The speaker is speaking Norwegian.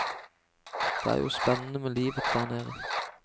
Det er jo spennende med livet der nede.